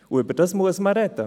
Darüber muss man sprechen.